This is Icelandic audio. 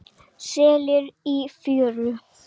Selir í fjöru.